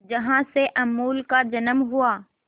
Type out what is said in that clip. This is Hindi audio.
जहां से अमूल का जन्म हुआ